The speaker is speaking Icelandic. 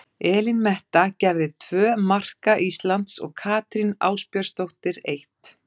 Elín Metta gerði tvö marka Íslands og Katrín Ásbjörnsdóttir eitt.